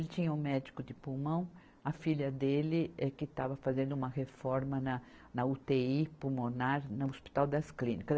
Ele tinha um médico de pulmão, a filha dele é que estava fazendo uma reforma na, na utêi pulmonar, no Hospital das Clínicas.